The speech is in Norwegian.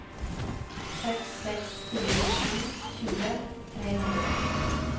seks seks fire sju tjue tre hundre